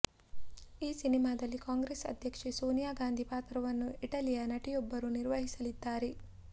ಈ ಸಿನಿಮಾದಲ್ಲಿ ಕಾಂಗ್ರೆಸ್ ಅಧ್ಯಕ್ಷೆ ಸೋನಿಯಾ ಗಾಂಧಿ ಪಾತ್ರವನ್ನು ಇಟಲಿಯ ನಟಿಯೊಬ್ಬರು ನಿರ್ವಹಿಸಲಿದ್ದಾರೆ